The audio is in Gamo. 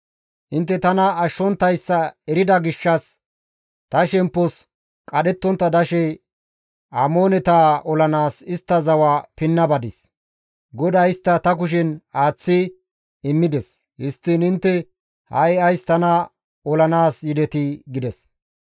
Intte tana ashshonttayssa erida gishshas ta shemppos qadhettontta dashe Amooneta olanaas istta zawa pinna badis; GODAY istta ta kushen aaththi immides. Histtiin intte ha7i ays tana olanaas yidetii?» gides.